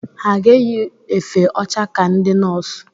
Ha ga-eyi efe ọcha ka ndị nọọs?